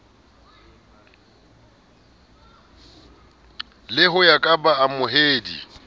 le ho ya ka baamohedi